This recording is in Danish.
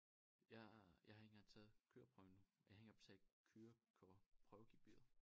Jeg jeg har ikke engang taget køreprøven endnu og jeg har ikke gang betalt kørekortprøvegebyret